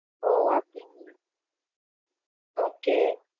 ஒ அப்படிங்களா okay.